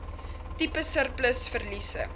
tipe surplus verliese